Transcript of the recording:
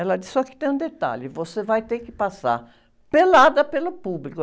Ela disse, só que tem um detalhe, você vai ter que passar pelada pelo público.